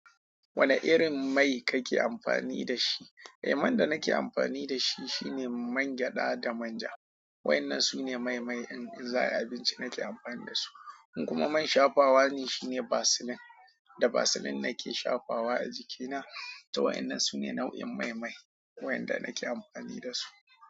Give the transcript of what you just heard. Wane irin mai kake amfani da shi? Eh, man da nake amfani da shi shine man gyaɗa da manja. Wa ennan su ne mai-mai in za ayi abinci nake amfani da su. Kuma man shafawa ne shine vaseline. Da vaseline nake shafawa a jikina. To waɗannan su ne nau'in mai-mai waɗanda nake amfani da su.